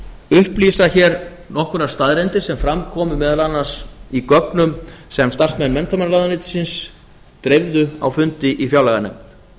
upplýsa hér nokkrar staðreyndir sem fram komu meðal annars í gögnum sem starfsmenn menntamálaráðuneytisins dreifðu á fundi í fjárlaganefnd